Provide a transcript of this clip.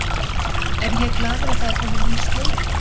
Er ég glaður að það er kominn nýr stjóri?